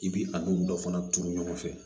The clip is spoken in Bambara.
I bi a n'u dɔ fana turu ɲɔgɔn fɛ